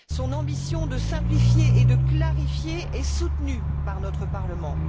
Son ambition de simplifier et de clarifier est soutenue par notre Parlement.